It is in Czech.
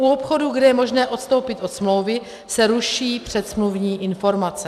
U obchodů, kde je možné odstoupit od smlouvy, se ruší předsmluvní informace.